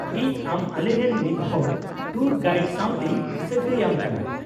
-ᱤᱧ ᱟᱢ ᱟᱞᱮ ᱨᱮᱱ ᱢᱤᱫᱦᱚᱲ ᱴᱩᱨ ᱜᱟᱤᱭᱰ ᱥᱟᱶᱛᱮᱧ ᱥᱟᱜᱟᱹᱭ ᱟᱢ ᱠᱟᱱᱟ ᱾